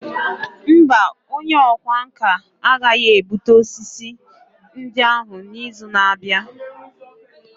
Mba, onye ọkwá nkà agaghị ebute osisi ndị ahụ n'izu na-abịa.